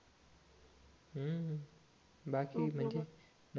हम्म बाकी म्हणजे